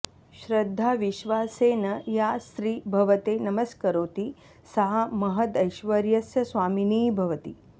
श्रद्धाविश्वासेन या स्त्री भवते नमस्करोति सा महदैश्वर्यस्य स्वामिनी भवति